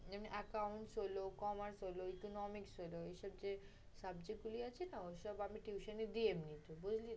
এমনি account হইলো, commerce হইলো, economics হইলো। এসব যে subject গুলি আছে না, ঐসব আমি tuition ই দিই এমনিতো